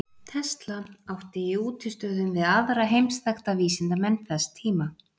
Tesla átti í útistöðum við aðra heimsþekkta vísindamenn þess tíma.